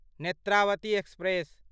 Netravati express